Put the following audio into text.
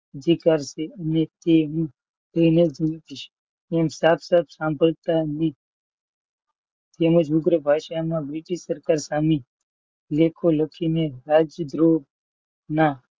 અધિકાર છે તેવું કહીને. તેમજ ઉગ્ર ભાષામાં બ્રિટિશ સરકાર સામે દેખો લખીને રાજદ્રોહના